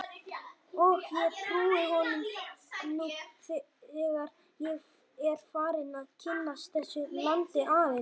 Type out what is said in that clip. Og ég trúi honum nú þegar ég er farinn að kynnast þessu landi aðeins.